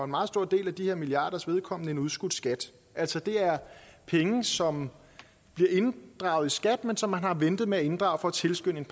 meget stor del af de her milliarders vedkommende en udskudt skat altså det er penge som bliver inddraget i skat men som man har ventet med at inddrage for at tilskynde